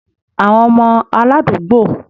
Àwọn ọmọ aládùúgbò